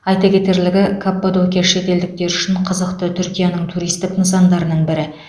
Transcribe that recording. айта кетерлігі каппадокия шетелдіктер үшін қызықты түркияның туристік нысандарының бірі